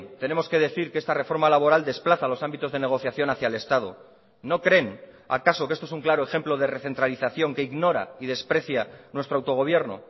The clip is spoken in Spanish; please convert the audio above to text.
tenemos que decir que esta reforma laboral desplaza a los ámbitos de negociación hacia el estado no creen acaso que esto es un claro ejemplo de recentralización que ignora y desprecia nuestro autogobierno